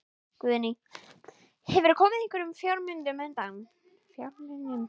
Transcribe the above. Guðný: Hefurðu komið einhverjum fjármunum undan?